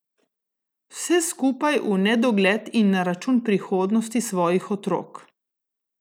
Vse skupaj v nedogled in na račun prihodnosti svojih otrok!